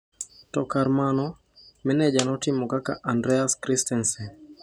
To kar mano, meneja notimo kaka Andreas Christensen.